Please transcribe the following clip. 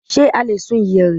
Ṣe a lè sun ìyẹ̀rẹ̀?